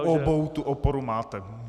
U obou tu oporu máte.